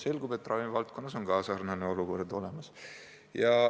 Selgub, et ravimivaldkonnas on sarnane olukord.